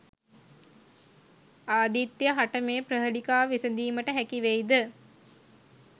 ආදිත්‍ය හට මේ ප්‍රහේලිකාව විසදීමට හැකි වෙයිද?